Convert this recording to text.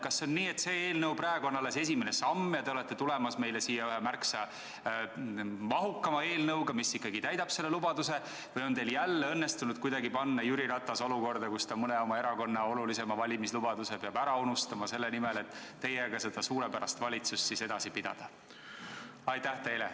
Kas on nii, et see eelnõu on alles esimene samm ja te olete välja tulemas ühe märksa mahukama eelnõuga, mis ikkagi täidab selle lubaduse, või on teil jälle õnnestunud kuidagi panna Jüri Ratas olukorda, kus ta mõne oma erakonna olulise valimislubaduse peab ära unustama selle nimel, et teiega seda suurepärast valitsust edasi pidada?